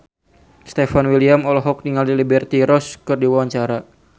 Stefan William olohok ningali Liberty Ross keur diwawancara